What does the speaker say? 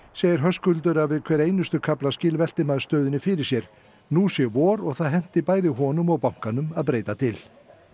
segir Höskuldur að við hver einustu kaflaskil velti maður stöðunni fyrir sér nú sé vor og það henti bæði honum og bankanum að breyta til